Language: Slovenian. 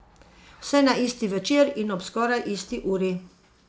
Vse na isti večer in ob skoraj isti uri.